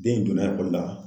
Den in donna la.